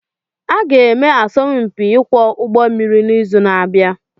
Aga-eme asọmpi ịkwọ ụgbọ mmiri n'izu na-abịa